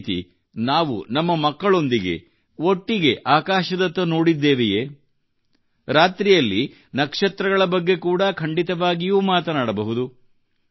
ಅದೇರೀತಿ ನಾವು ನಮ್ಮ ಮಕ್ಕಳೊಂದಿಗೆ ಒಟ್ಟಿಗೆ ಆಕಾಶದತ್ತ ನೋಡಿದ್ದೇವೆಯೇ ರಾತ್ರಿಯಲ್ಲಿ ನಕ್ಷತ್ರಗಳ ಬಗ್ಗೆ ಕೂಡಾ ಖಂಡಿತವಾಗಿಯೂ ಮಾತನಾಡಬಹುದು